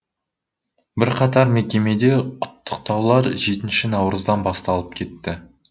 бірқатар мекемеде құттықтаулар жетінші наурыздан басталып кетті